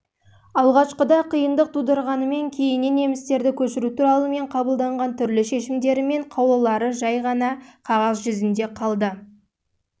алғашқыда қиындық тудырғанымен кейіннен немістерді көшіру туралы мен қабылдаған түрлі шешімдері мен қаулылары жай ғана